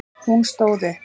Hún stóð upp.